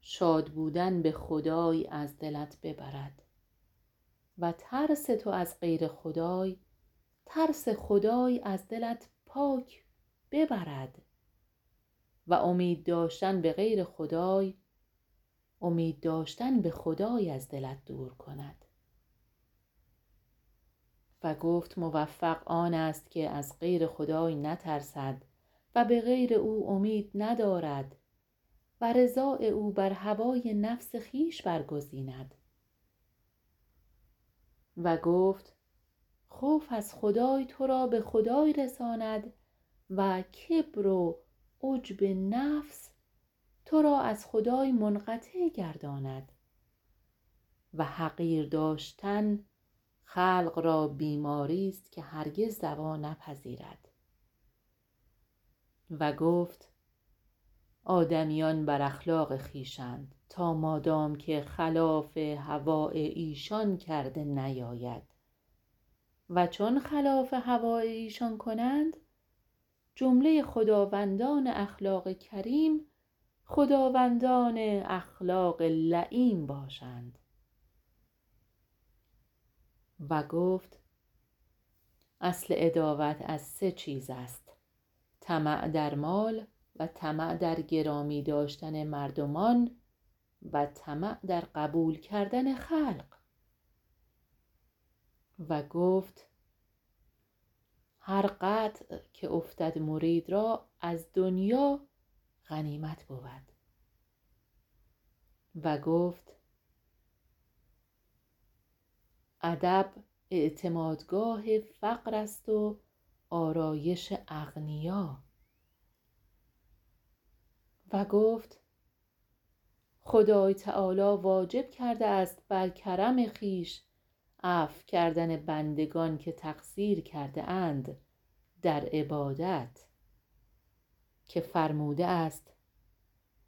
شاد بودن به خدای از دلت ببرد و ترس تو از غیر خدای ترس خدای از دلت پاک ببرد و امید داشتن بغیر خدای امید داشتن به خدای از دلت دور کند و گفت موفق آنست که از غیر خدای نترسد و بغیر او امید ندارد و رضاء او بر هوای نفس خویش برگزیند و گفت خوف از خدای ترا به خدای رساند و کبر و عجب نفس ترا از خدای منقطع گرداند وحقیر داشتن خلق را بیماری است که هرگز دوا نپذیرد و گفت آدمیان بر اخلاق خویش اند تا مادام که خلاف هواء ایشان کرده نیاید و چون خلاف هواء ایشان کنند جمله خداوندان اخلاق کریم خداوندان اخلاق لییم باشند و گفت اصل عداوت از سه چیز است طمع در مال و طمع در گرامی داشتن مردمان و طمع در قبول کردن خلق و گفت هر قطع که افتد مرید رااز دنیا غنیمت بود و گفت ادب اعتماد گاه فقر است و آرایش اغنیا و گفت خدای تعالی واجب کرده است بر کرم خویش عفو کردن بندگان که تقصیر کرده اند در عبادت که فرموده است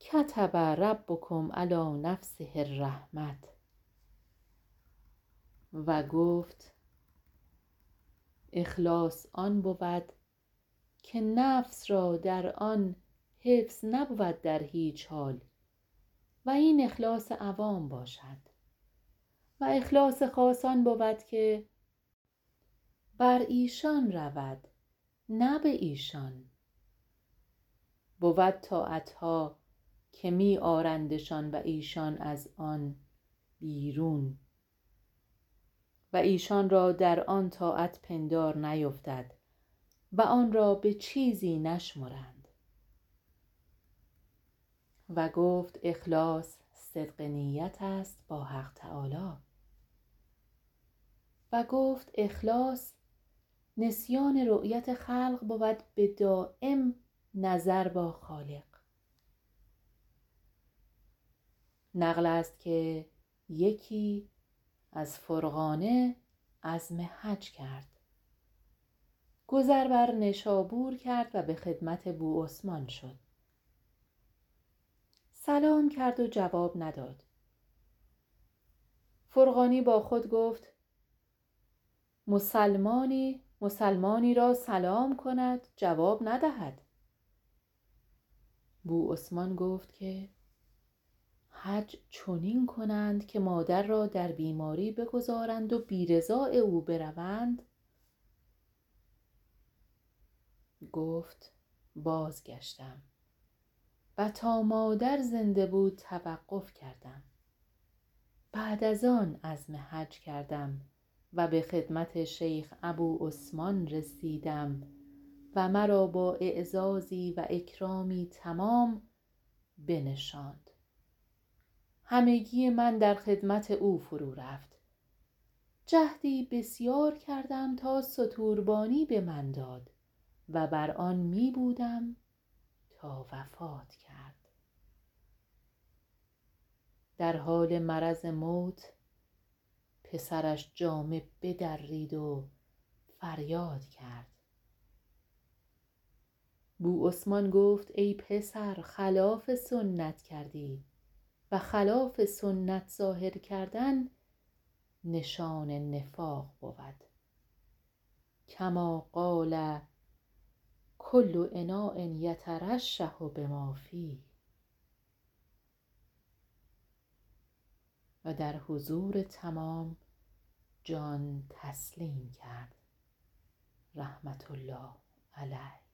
کتب ربکم علی نفسه الرحمة و گفت اخلاص آن بود که نفس را در آن حفظ نبود در هیچ حال و این اخلاص عوام باشد و اخلاص خاص آن بود که برایشان رودنه بایشان بود طاعتها که می آرندشان و ایشان از آن بیرون و ایشان را در آن طاعت پندار نیفتد وآنرا به چیزی نشمرند و گفت اخلاص صدق نیت است با حق تعالی و گفت اخلاص نسیان رؤیت خلق بود بدایم نظر با خالق نقلست که یکی از فرغانه عزم حج کرد گذر بر نیشابور کرد و به خدمت بوعثمان شد سلام کرد و جواب نداد فرغانی با خود گفت مسلمانی مسلمانی را سلام کند جواب ندهد بوعثمان گفت که حج چنین کند که مادر را در بیماری بگذارند و بی رضاء او بروند گفت بازگشتم تا مادر زنده بود توقف کردم بعد از آن عزم حج کردم و به خدمت شیخ ابوعثمان رسیدم و مرا با اعزازی و اکرامی تمام به نشاند همگی من در خدمت او فرو گرفت جهدی بسیار کردم تا ستوربانی بمن داد و بر آن می بودم تا وفات کرد در حال مرض موت پسرش جامه بدرید و فریاد کرد بوعثمان گفت ای پسر خلاف سنت کردی و خلاف سنت ظاهر کردن نشان نفاق بود کمال قال کل اناء یترشح بما فیه حضور تمام جان تسلیم کرد رحمةالله علیه